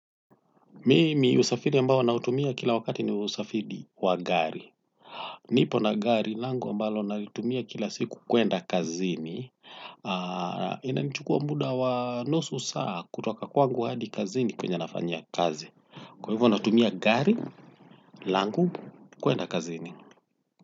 Mimi usafiri ambo ninaoutumia kila wakati ni usafiri wa gari. Nipo na gari langu mbalo naliutumia kila siku kuenda kazini. Aaah. Inanichukua muda wa nusu saa kutoka kwangu hadi kazini kwenye nafanyia kazi. Kwa hivyo natumia gari langu kuenda kazini.